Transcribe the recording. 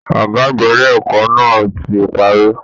Ọgá àgbà ilé ẹ̀kọ́ náà tí párí.